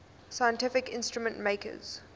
scientific instrument makers